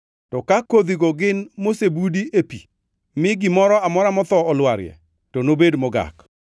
to ka kodhigo gin mosebudi e pi, mi gimoro amora motho olwarie, to nobed mogak.